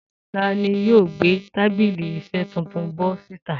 Ta ni yóò gbé tábìlì iṣẹ́ tuntun bọ́ síta?